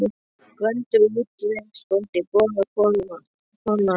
Gvendur útvegsbóndi, Bogga kona hans og